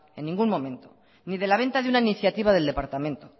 en ningún momento ni de la venta de una iniciativa del departamento